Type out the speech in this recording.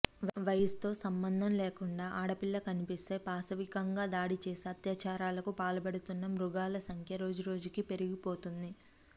వయసుతో సంబంధం లేకుండా ఆడపిల్ల కనిపిస్తే పాశవికంగా దాడి చేసి అత్యాచారాలకి పాల్పడుతున్న మగాళ్ల సంఖ్య రోజు రోజుకి పెరిగిపోతుంది